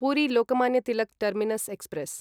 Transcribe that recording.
Puri Lokmanya Tilak terminus express